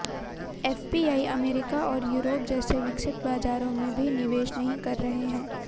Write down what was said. FPI America और Europe जैसे विकसित बाजारों में भी निवेश नहीं कर रहे हैं